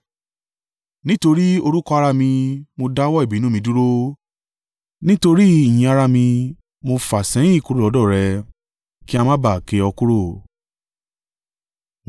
Nítorí orúkọ ara mi, mo dáwọ́ ìbínú mi dúró; nítorí ìyìn ara mi, mo fà á sẹ́yìn kúrò lọ́dọ̀ rẹ, kí a má ba à ké ọ kúrò.